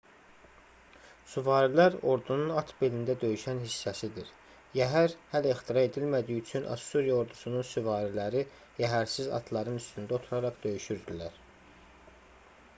süvarilər ordunun at belində döyüşən hissəsidir yəhər hələ ixtira edilmədiyi üçün assuriya ordusunun süvariləri yəhərsiz atların üstündə oturaraq döyüşürdülər